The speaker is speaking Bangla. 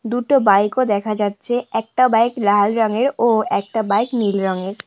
দুটো বাইক ও দেখা যাচ্ছে একটা বাইক লাল রঙের ও একটা বাইক নীল রঙের।